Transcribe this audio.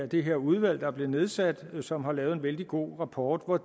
det her udvalg der er blevet nedsat og som har lavet en vældig god rapport og